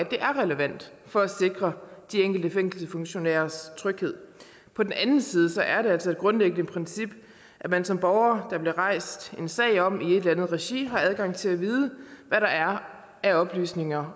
det er relevant for at sikre de enkelte fængselsfunktionærers tryghed på den anden side er det altså et grundlæggende princip at man som borger der bliver rejst en sag om i et eller andet regi har adgang til at vide hvad der er af oplysninger